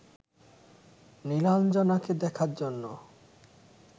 নীলাঞ্জনাকে দেখার জন্য